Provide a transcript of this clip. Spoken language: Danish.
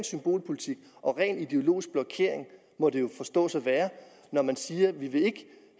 symbolpolitik og ren ideologisk blokering må det jo forstås at være når man siger